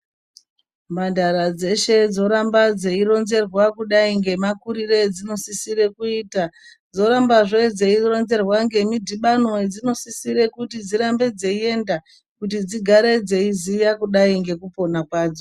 Mhandara dzeshe dzoramba dzei ronzerwa ku dai nemakurire edzinosisire kuita dzorambazve dzeironzerwa nemidhibano yedzinosisire kuti dzirambe dzeiyenda kuti dzigare dzeiziya kudayi nekupona kwadzo.